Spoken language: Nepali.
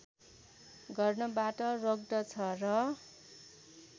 गर्नबाट रोक्दछ र